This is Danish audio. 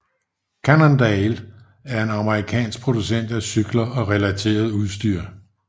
Cannondale er en amerikansk producent af cykler og relateret udstyr